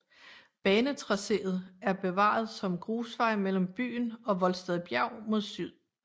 Banetracéet er bevaret som grusvej mellem byen og Voldsted Bjerg mod syd